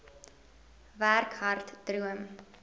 werk hard droom